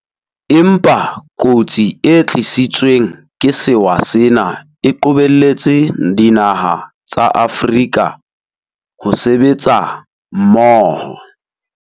Empa kotsi e tlisitsweng ke sewa sena e qobelletse dinaha tsa Afrika ho sebetsa mmoho.